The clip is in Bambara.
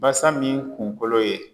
Basa min kunkolo ye